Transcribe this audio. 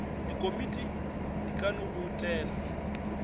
dikomiti di ka no boutela